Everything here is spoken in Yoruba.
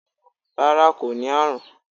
rara ko ni arun